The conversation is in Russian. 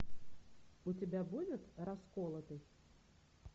у тебя будет расколотый